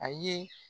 A ye